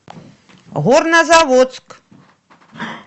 горнозаводск